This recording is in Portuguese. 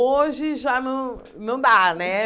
Hoje, já não não dá, né?